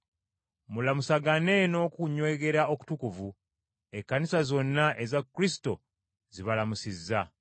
Mulamusagane n’okunywegera okutukuvu. Ekkanisa zonna eza Kristo, zibalamusizza.